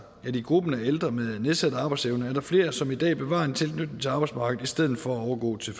at i gruppen af ældre med nedsat arbejdsevne er der flere som i dag bevarer en tilknytning til arbejdsmarkedet i stedet for at overgå til